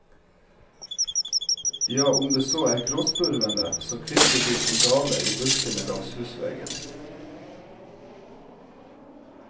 Ja, om det så er gråspurvene, så kvitrer de som gale i buskene langs husveggen.